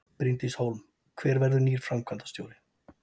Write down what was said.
Bryndís Hólm: Hver verður nýr framkvæmdastjóri?